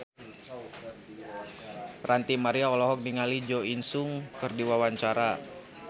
Ranty Maria olohok ningali Jo In Sung keur diwawancara